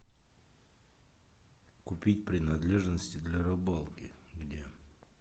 купить принадлежности для рыбалки где